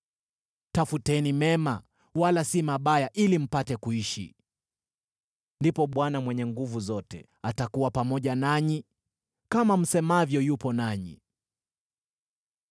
Tafuteni mema, wala si mabaya, ili mpate kuishi. Ndipo Bwana Mungu Mwenye Nguvu Zote atakuwa pamoja nanyi, kama msemavyo yupo nanyi.